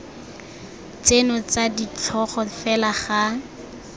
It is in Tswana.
tseno tsa ditlhogo fela ga